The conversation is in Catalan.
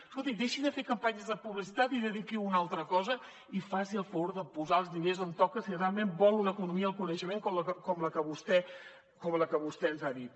escolti deixi de fer campanyes de publicitat i dediqui ho a una altra cosa i faci el favor de posar els diners on toca si realment vol una economia del coneixement com la que vostè ens ha dit